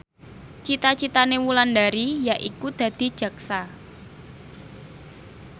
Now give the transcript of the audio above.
cita citane Wulandari yaiku dadi jaksa